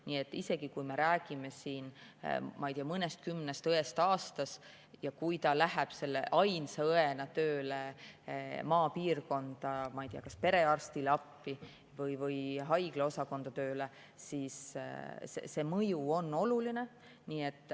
Nii et isegi kui me räägime siin, ma ei tea, mõnekümnest õest aastas ja kui keegi läheb selle ainsa õena tööle maapiirkonda kas perearstile appi või haigla osakonda tööle, siis see mõju on oluline.